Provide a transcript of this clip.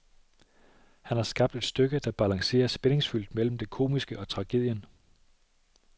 Han har skabt et stykke, der balancerer spændingsfyldt mellem det komiske og tragedien.